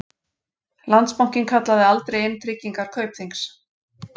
Landsbankinn kallaði aldrei inn tryggingar Kaupþings